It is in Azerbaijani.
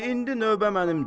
Di indi növbə mənimdir.